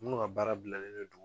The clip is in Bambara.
Minnu ka baara bilanen don